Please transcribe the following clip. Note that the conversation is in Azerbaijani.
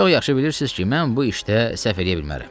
Çox yaxşı bilirsiniz ki, mən bu işdə səhv eləyə bilmərəm.